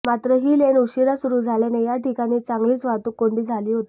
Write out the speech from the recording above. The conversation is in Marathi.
मात्र ही लेन उशिरा सुरु झाल्याने याठिकाणी चांगलीच वाहतूक कोंडी झाली होती